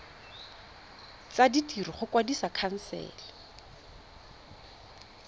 tsa ditiro go kwadisa khansele